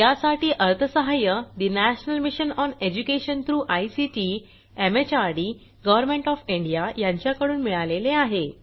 यासाठी अर्थसहाय्य national mission on education through ICT MHRD government of India यांच्याकडून मिळालेले आहे